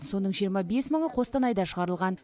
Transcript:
соның жиырма бес мыңы қостанайда шығарылған